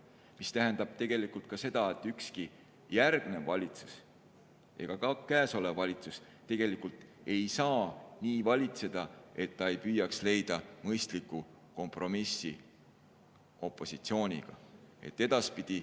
See tähendab tegelikult seda, et ükski järgmine valitsus ega ka käesolev valitsus ei saa nii valitseda, et ta ei püüaks leida mõistlikku kompromissi opositsiooniga.